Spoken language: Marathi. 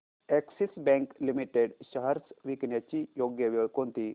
अॅक्सिस बँक लिमिटेड शेअर्स विकण्याची योग्य वेळ कोणती